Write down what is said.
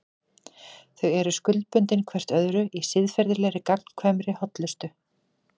Þau eru skuldbundin hvert öðru í siðferðilegri, gagnkvæmri hollustu.